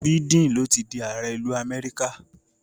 Biden ló ti di ààrẹ ìlú Amẹ́ríkà.